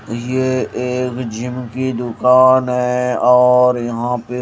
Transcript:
ये एक जिम कि दुकान है और यहाँ पे--